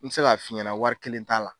N se ka f'i ɲɛna wari kelen t'a la.